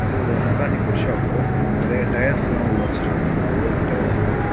இது ஒரு mechanic workshop நிறைய டயர்ஸ் எல்லா உள்ள வச்சிருக்காங்க ஓல்ட் டயர்ஸ் எல்லா.